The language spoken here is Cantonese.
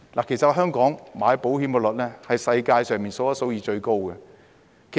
其實香港人購買保險的機率是世界首屈一指的。